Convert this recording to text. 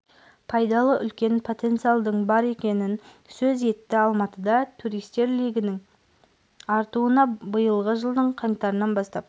пайдалы үлкен потенциалдың бар екенін сөз етті алматыда туристер легінің артуына биылғы жылдың қаңтарынан бастап